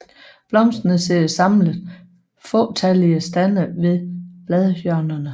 Blomsterne sidder samlet i fåtallige stande ved bladhjørnerne